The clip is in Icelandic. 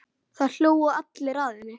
Það hlógu allir að henni.